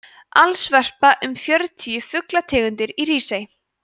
alls verpa um fjörutíu fuglategundir í hrísey